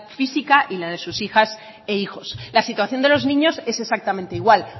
física y las de sus hijas e hijos la situación de los niños es exactamente igual